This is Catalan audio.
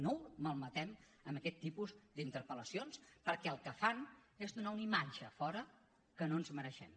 no ho malmetem amb aquest tipus d’interpel·lacions perquè el que fan és donar una imatge a fora que no ens mereixem